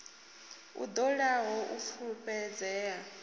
i ṱo ḓaho u fulufhedzea